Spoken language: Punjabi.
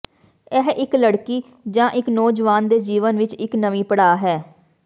ਇਹ ਇਕ ਲੜਕੀ ਜਾਂ ਇਕ ਨੌਜਵਾਨ ਦੇ ਜੀਵਨ ਵਿਚ ਇਕ ਨਵੀਂ ਪੜਾਅ ਹੈ